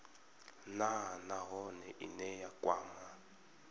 nha nahone ine ya kwama